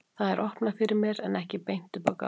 Það er opnað fyrir mér en ekki beint upp á gátt.